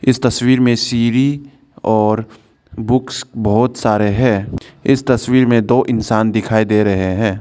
इस तस्वीर में सिढ़ी और बुक्स बहुत सारे हैं इस तस्वीर में दो इंसान दिखाई दे रहे हैं।